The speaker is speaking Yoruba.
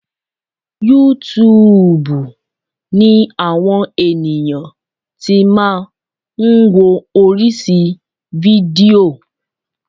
Yútúuùbù ni àwọn ènìyàn ti máa ń wo oríṣi fídíò.